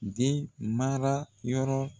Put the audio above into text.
Den mara yɔrɔ